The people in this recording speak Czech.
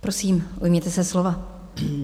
Prosím, ujměte se slova.